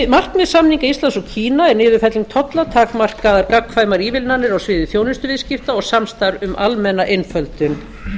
markmið samninga íslands og kína er niðurfelling tolla takmarkaðar gagnkvæmar ívilnanir á sviði þjónustuviðskipta og samstarf um almenna einföldun